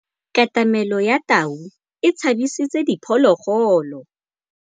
Katamêlô ya tau e tshabisitse diphôlôgôlô.